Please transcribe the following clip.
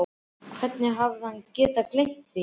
Hvernig hafði hann getað gleymt því?